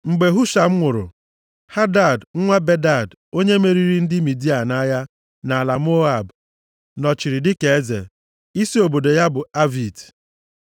Mgbe Husham nwụrụ, Hadad nwa Bedad, onye meriri ndị Midia nʼagha nʼala Moab nọchiri dịka eze. Isi obodo ya bụ Avit.